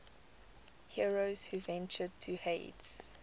heroes who ventured to hades